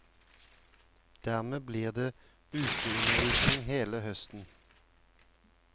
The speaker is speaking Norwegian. Dermed blir det uteundervisning hele høsten.